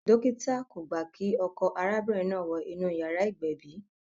Dókítà kò gbà kí ọkọ arábìnrin náà wọ inú yàrá ìgbẹ̀bì